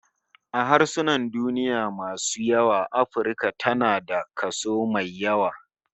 A harsunan duniya masu yawa Afirka tana da kaso mai yawa